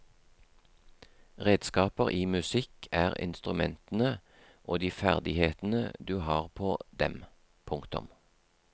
Redskaper i musikk er instrumentene og de ferdighetene du har på dem. punktum